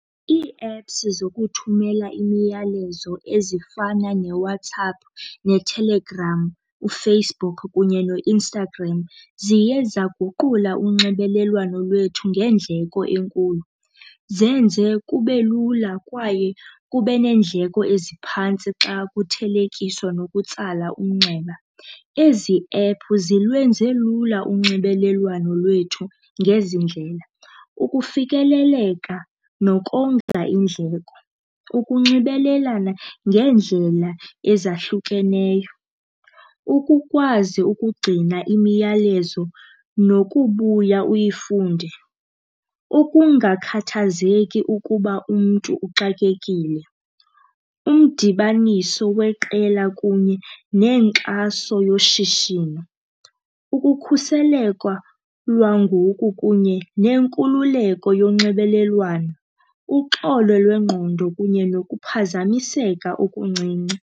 Ii-apps zokuthumela imiyalezo ezifana neWhatsApp neTelegram, uFacebook kunye noInstagram. Ziye zaguqula unxibelelwano lwethu ngendleko enkulu, zenze kube lula kwaye kube neendleko eziphantsi xa kuthelekiswa nokutsala umnxeba. Ezi ephu zilwenze lula unxibelelwano lwethu ngezindlela ukufikeleleka nokonga iindleko, ukunxibelelana ngeendlela ezahlukeneyo, ukukwazi ukugcina imiyalezo nokubuya uyifunde, ukungakhathazeki ukuba umntu uxakekile. Umdibaniso weqela kunye neenkxaso yoshishino, ukukhuseleka lwangoku kunye nenkululeko yonxibelelwano, uxolo lwengqondo kunye nokuphazamiseka okuncinci.